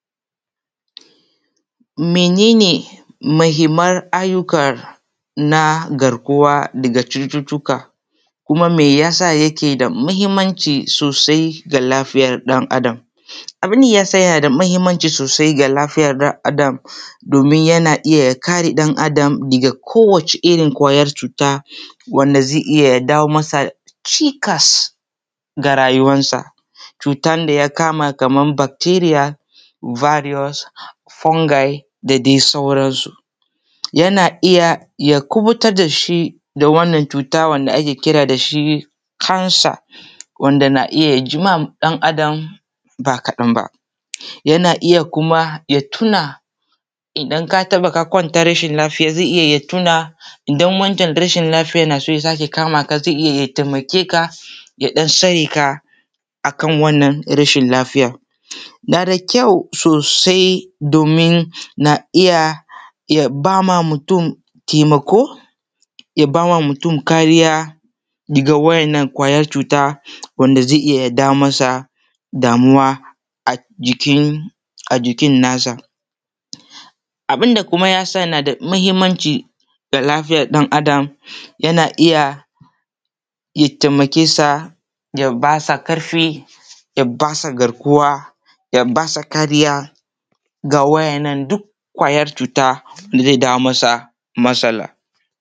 Menene mahimman ayyukar na garkuwa ga cututuka? Kuma me yasa yake da muhimmanci sosai ga lafiyan ɗan Adam? Abun da yasa yake da muhimmanci sosai ga lafiyan ɗan Adam domin yana iya ya kare ɗan Adam daga kowace irin ƙwayar cuta wanda zai iya jawo masa cikas ga rayuwarsa. Cutar da ya kama kamar bacteria, virus, fungi da dai sauransu. Yana iya ya kuɓutar da shi da wannan cuta wanda ake kira da shi kansa wanda yana iya ji wa ɗan Adam ba kaɗan ba. Yana iya kuma ya tuna idan ka kwanta rashin lafiya zai iya ya tuna idan wancan rashin lafiyan yana so ya sake kama ka zai iya ya taimake ka, ya ɗan tsare ka akan wanna rashin lafiyan. Na da kyau sosai domin na iya ba ma mutun taimakon ya ba wa mutun kariya ga wa'innan ƙwayar cuta wanda zai iya ya dawo masa damuwa a jikinsa. Abun da kuma ya sa kuma yana da muhimmanci ga lafiyan ɗan Adam yana iya ya taimake sa ya basa ƙarfi, ya ba sa garkuwa, ya ba sa kariya da wa'innan duk ƙwayar cuta da zai jawo masa matsala.